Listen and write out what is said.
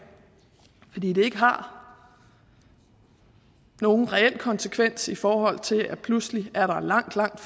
fordi det ikke har nogen reel konsekvens i forhold til at der pludselig er langt langt